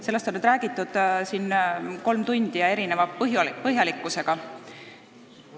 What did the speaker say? Sellest on nüüd räägitud siin kolm tundi ja erineva põhjalikkusega.